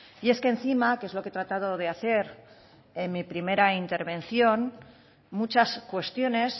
y es que encima que es lo que he tratado de hacer en mi primera intervención muchas cuestiones